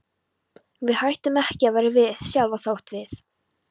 Við hættum ekki að vera við sjálf þótt við.